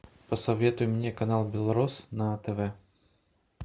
посоветуй мне канал белрос на тв